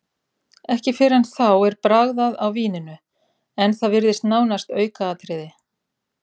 Ekki fyrr en þá er bragðað á víninu, en það virðist nánast aukaatriði.